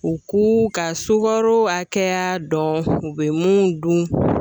U k'u ka sukaro hakɛya dɔn u bɛ mun dun